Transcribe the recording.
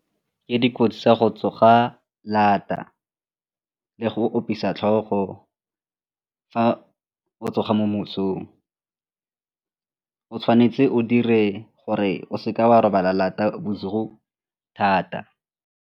Ke dikotsi tsa go tsoga lata le go opisa tlhogo fa o tsoga mo mosong, o tshwanetse o dire gore o seka wa robala lata bosigo thata.